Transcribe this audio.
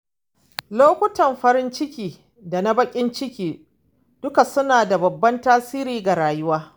Lokutan farin ciki da na bakin ciki duka suna da babban tasiri ga rayuwa.